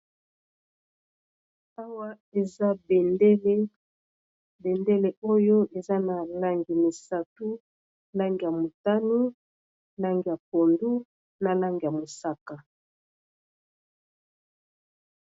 Awa eza bendele bendele oyo eza na langi misato lange ya motanu, lange ya pondu ,na lange ya mosaka.